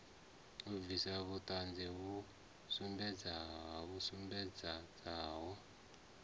u bvisa vhuṱanzi vhu sumbedzaho